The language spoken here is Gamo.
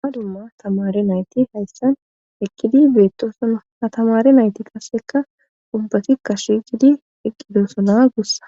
ha dumma tamare nayti hayssan ekkidi beettosona ha tamare nayti kaseka ubbati kashicidi eqqidosona gussa